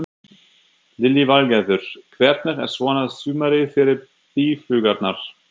Lillý Valgerður: Hvernig er svona sumarið fyrir býflugurnar?